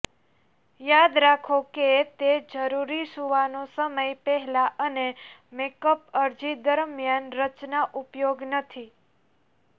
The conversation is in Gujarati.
યાદ રાખો કે તે જરૂરી સૂવાનો સમય પહેલાં અને મેકઅપ અરજી દરમિયાન રચના ઉપયોગ નથી